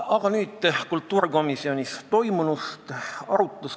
Aga nüüd kultuurikomisjonis toimunust.